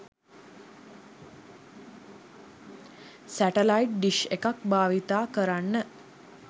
satellite dish එකක් භවිතා කරන්න